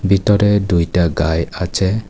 ভিতরে দুইটা গাই খাচ্ছে।